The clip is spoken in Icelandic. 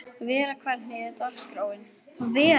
Vera, hvernig er dagskráin?